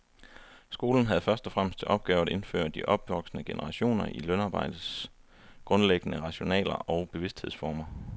Skolen havde først og fremmest til opgave at indføre de opvoksende generationer i lønarbejdets grundlæggende rationaler og bevidsthedsformer.